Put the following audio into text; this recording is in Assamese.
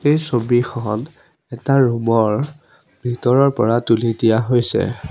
এই ছবিখন এটা ৰুমৰ ভিতৰৰ পৰা তুলি দিয়া হৈছে।